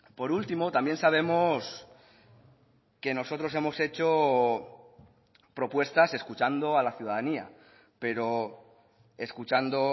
por último también sabemos que nosotros hemos hecho propuestas escuchando a la ciudadanía pero escuchando